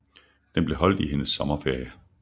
Den blev holdt i hendes sommerferie